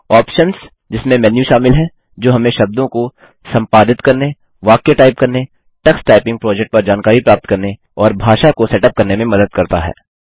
options - जिसमें menu शामिल हैं जो हमें शब्दों को संपादित करने वाक्य टाइप करने टक्स टाइपिंग प्रोजेक्ट पर जानकारी प्राप्त करने और भाषा को सेटअप करने में मदद करता है